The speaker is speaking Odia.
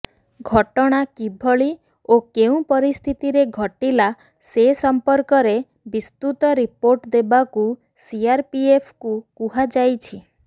ଘଟଣା କିଭଳି ଓ କେଉଁ ପରିସ୍ଥିତିରେ ଘଟିଲା ସେ ସମ୍ପର୍କରେ ବିସ୍ତୁତ ରିପୋର୍ଟ ଦେବାକୁ ସିଆରପିଏଫକୁ କୁହାଯାଇଛି